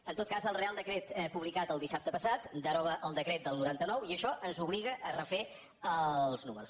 en tot cas el reial decret publicat el dissabte passat deroga el decret del noranta nou i això ens obliga a refer els números